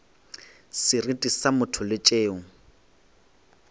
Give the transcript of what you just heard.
seriti sa motho le tšeo